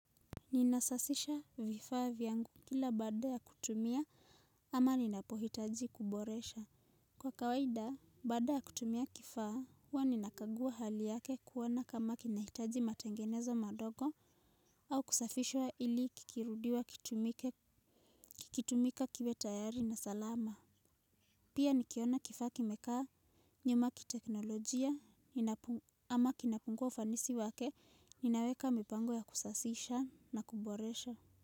Ninasasisha vifaa vyangu kila baada ya kutumia ama ninapohitaji kuboresha. Kwa kawaida, baada ya kutumia kifaa, huwa ninakagua hali yake kuona kama kinahitaji matengenezo madogo au kusafishwa ili kikirudiwa kikutumika kiwe tayari na salama. Pia nikiona kifaa kimekaa nyuma ki teknolojia ama kinapungua ufanisi wake, ninaweka mipango ya kusasisha na kuboresha.